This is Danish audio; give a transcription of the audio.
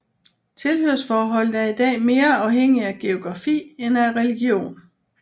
Tilhørsforholdet er i dag mere afhængig af geografi end af religion